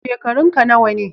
Shekarunka nawa ne?